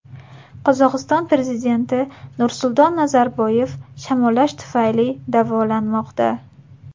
Qozog‘iston prezidenti Nursulton Nazarboyev shamollash tufayli davolanmoqda.